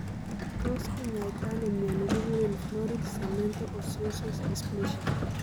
Tos kinyaita ano mioni kiguren florid cemento osseous dysplasia?